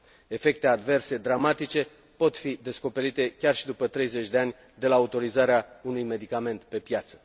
Efecte adverse dramatice pot fi descoperite chiar și după 30 de ani de la autorizarea unui medicament pe piață.